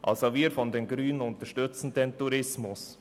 Also wir von den Grünen unterstützen den Tourismus.